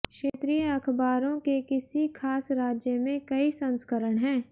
क्षेत्रीय अखबारों के किसी खास राज्य में कई संस्करण हैं